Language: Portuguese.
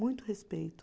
Muito respeito.